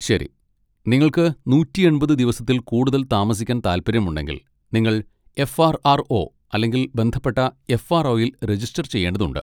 ശരി, നിങ്ങൾക്ക് നൂറ്റി എൺപത് ദിവസത്തിൽ കൂടുതൽ താമസിക്കാൻ താൽപ്പര്യമുണ്ടെങ്കിൽ, നിങ്ങൾ എഫ്.ആർ.ആർ.ഒ. അല്ലെങ്കിൽ ബന്ധപ്പെട്ട എഫ്.ആർ.ഒ.യിൽ രജിസ്റ്റർ ചെയ്യേണ്ടതുണ്ട്.